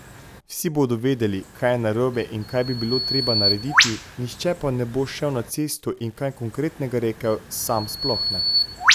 Vsi bodo vedeli, kaj je narobe in kaj bi bilo treba narediti, nihče pa ne bo šel na cesto in kaj konkretnega rekel, sam sploh ne.